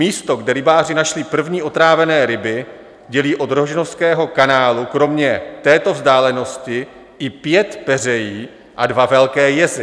Místo, kde rybáři našli první otrávené ryby, dělí od rožnovského kanálu kromě této vzdálenosti i pět peřejí a dva velké jezy.